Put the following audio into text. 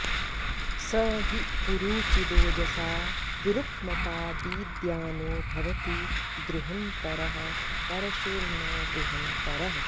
स हि पु॒रू चि॒दोज॑सा वि॒रुक्म॑ता॒ दीद्या॑नो॒ भव॑ति द्रुहंत॒रः प॑र॒शुर्न द्रु॑हंत॒रः